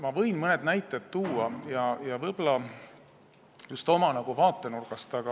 Ma võin mõned näited tuua ja võib-olla just oma vaatenurgast.